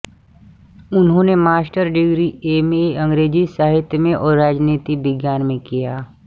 उन्होंने master degree MA अंग्रेजी साहित्य में और राजनीति विज्ञान में किया